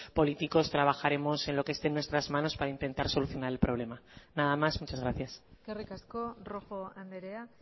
políticos trabajaremos en lo que esté en nuestras manos para intentar solucionar el problema nada más muchas gracias eskerrik asko rojo andrea